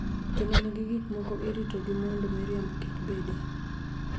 Joma nigi gik moko iritogi mondo miriambo kik. bede